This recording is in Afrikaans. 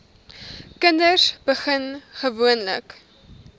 kinders begin gewoonlik